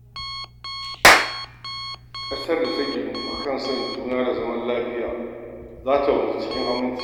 Ƙasar da ta ginu a kan son juna da zaman lafiya za ta wanzu cikin aminci.